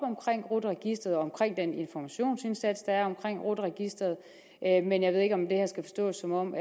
rut registeret og den informationsindsats der er om rut registeret men jeg ved ikke om det her skal forstås som om